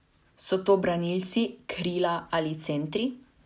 So to branilci, krila ali centri?